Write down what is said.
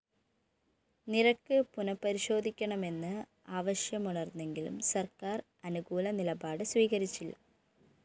നിരക്ക് പുനഃപരിശോധിക്കണമെന്ന് ആവശ്യമുയര്‍ന്നെങ്കിലും സര്‍ക്കാര്‍ അനുകൂല നിലപാട് സ്വീകരിച്ചില്ല